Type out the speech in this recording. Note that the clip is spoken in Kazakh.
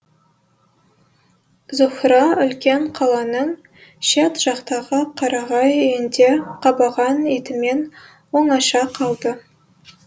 зуһра үлкен қаланың шет жақтағы қарағай үйінде қабаған итімен оңаша қалды